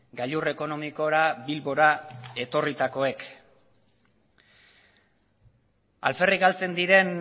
gailur ekonomikora bilbora etorritakoek alferrik galtzen diren